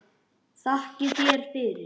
Þakka þér fyrir.